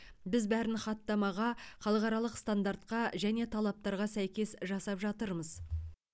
біз бәрін хаттамаға халықаралық стандартқа және талаптарға сәйкес жасап жатырмыз